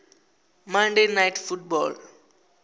monday night football